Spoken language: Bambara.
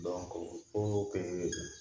Dɔnku ko ɛɛ